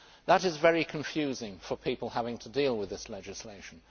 That is very confusing for people who have to deal with this legislation.